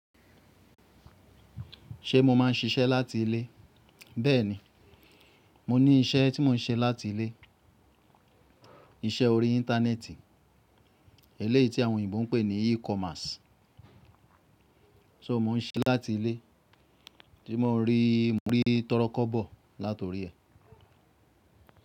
Ṣé mo máa ń ṣiṣẹ́ láti ilé? Bẹ́ẹ̀ni, mo ní iṣẹ́ tí mò ń ṣe láti ilé, iṣẹ́ orí Íńtánẹ́ẹ̀tì, eléyì tí àwọn òyìnbó ń pè ní E-commerce. So mò ń ṣe láti ilé, tí mò ń rí, mò rí tọ́rọ́ kọ́bọ̀ láti orí ẹ.